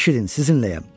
Eşidin, sizinləyəm.